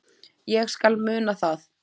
Ég skal muna það.